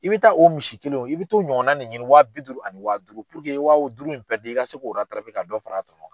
I bɛ taa o misi kelen o i bɛ t'o ɲɔgɔnna nin ɲini waa bi duuru ani waa duuru i ye wawo duuru in pɛridi i ka se k'o ka dɔ far'a tɔnɔ kan.